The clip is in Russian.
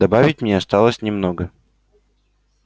добавить мне осталось немного